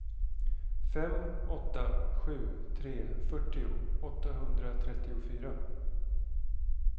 fem åtta sju tre fyrtio åttahundratrettiofyra